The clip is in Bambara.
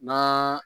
N'a